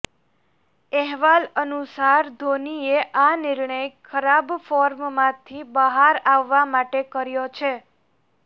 અહેવાલ અનુસાર ધોનીએ આ નિર્ણય ખરાબ ફોર્મમાંથી બહાર આવવા માટે કર્યો છે